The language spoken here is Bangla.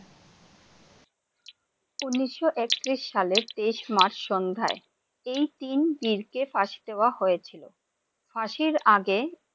উন্নিশো একত্রিশ সালে তেইশ মার্চে সন্ধায় এই তিন বীর কে ফাঁসি দেবা হয়েছিল । ফসির আগে!